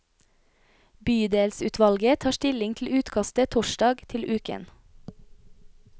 Bydelsutvalget tar stilling til utkastet torsdag til uken.